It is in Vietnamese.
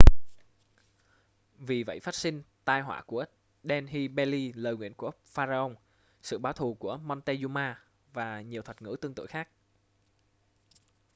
vì vậy phát sinh tai họa của delhi belly lời nguyền của pharaoh sự báo thù của montezuma và nhiều thuật ngữ tương tự khác